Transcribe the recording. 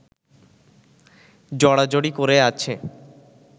জড়াজড়ি করে আছে